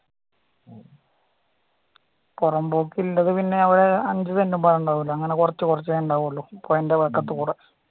പുറമ്പോക്ക് ഉണ്ടെകിൽ തന്നെ അഞ്ച് സെൻറ്റൊന്നും ഉണ്ടാവില്ല കൊറച്ചു കോരച്ചേ ഉണ്ടാവുവോള്ളു പോയേൻറ്റെ വക്കത്ത്‌ കൂടെ